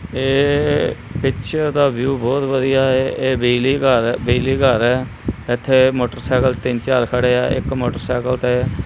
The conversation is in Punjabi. ਇਹ ਪਿੱਚਰ ਦਾ ਵਿਊ ਬਹੁਤ ਵਧੀਆ ਐ ਇਹ ਬਿਜਲੀਘਰ ਐ ਬਿਜਲੀਘਰ ਐ ਇੱਥੇ ਮੋਟਰਸਾਈਕਲ ਤਿੰਨ ਚਾਰ ਖੜੇ ਆ ਇੱਕ ਮੋਟਰਸਾਈਕਲ ਤੇ--